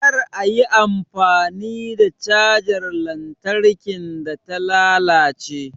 Kar a yi amfani da cajar lantarkin da ta lalace